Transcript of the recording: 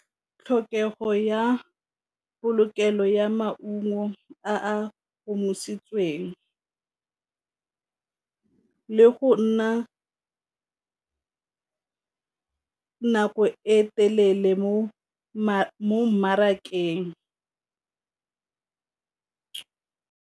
Tlhokego ya polokelo ya maungo a a omisitsweng le go nna nako e telele mo mmarakeng.